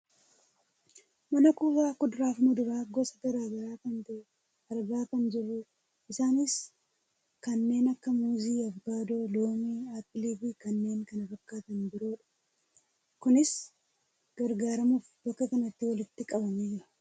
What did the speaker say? Mana kuusaa kuduraafi muduraa gosa gara garaa kan ta'e argaa kan jirrudha. Isaanis kanneen akka muuzii, avokaadoo, loomii, aappiliifi kanneen kana fakkaatan biroodha. Kunis gurguramuf bakka kanatti walitti qabamee jira.